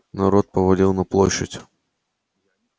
народ повалил на площадь